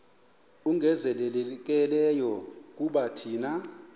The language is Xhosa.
ongezelelekileyo kuba thina